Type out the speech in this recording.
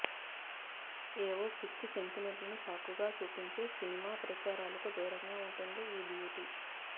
ఏవో పిచ్చి సెంటిమెంట్లను సాకుగా చూపించి సినిమా ప్రచారలకు దూరంగా ఉంటుంది ఈ బ్యూటీ